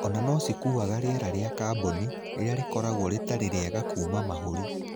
Ona no cikuaga riera rĩa kaboni, rĩrĩa rĩkoragwo rĩtarĩ riega kuma mahũri.